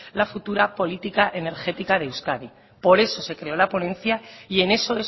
la futura política energética de euskadi por eso se creó la ponencia y en eso